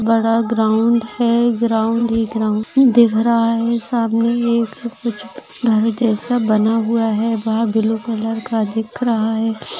बड़ा ग्राउंड है ग्राउंड ही ग्राउंड दिख रहा है सामने एक कुछ घर जैसा बना हुआ है वह ब्लू कलर का दिख रहा है।